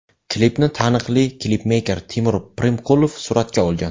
Klipni taniqli klipmeyker Timur Primkulov suratga olgan.